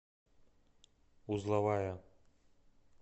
узловая